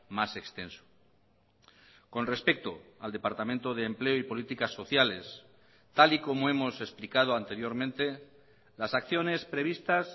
más extenso con respecto al departamento de empleo y políticas sociales tal y como hemos explicado anteriormente las acciones previstas